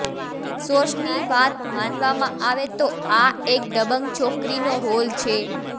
સોર્સની વાત માનવામાં આવે તો આ એક દબંગ છોકરીનો રોલ છે